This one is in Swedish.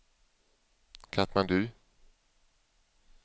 Katmandu